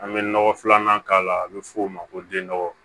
An bɛ nɔgɔ filanan k'a la a bɛ f'o ma ko den nɔgɔ